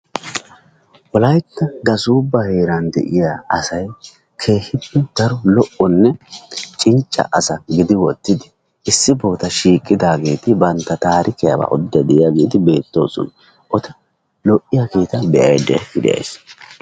Wolaytta gasubba heeran de'iyaa asay keehippe daro lo''onne cincca asa gidi wottidi issi bolla shiiqi daageti bantta taarikiyaba oodiide de'iyaageeti beettoosona. eta lo''iyaageeta be'aydda de'ays.